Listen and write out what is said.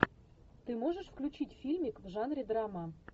ты можешь включить фильмик в жанре драма